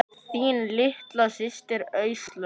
Þín litla systir, Áslaug.